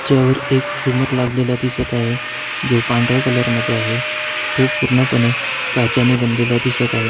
ज्यावर एक झुमर लागलेला दिसत आहे जो पांढरा कलर मध्ये आहे तो पूर्णपणे काचेने बनलेला दिसत आहे.